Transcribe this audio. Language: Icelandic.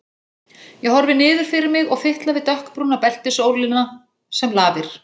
Ég horfi niður fyrir mig og fitla við dökkbrúna beltisólina sem lafir.